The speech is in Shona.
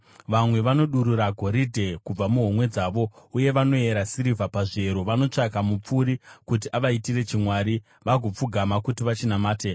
Vamwe vanodurura goridhe kubva muhomwe dzavo, uye vanoyera sirivha pazviyero; vanotsvaka mupfuri kuti avaitire chimwari, vagopfugama kuti vachinamate.